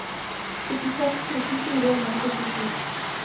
syttiseks tusen fire hundre og syttisju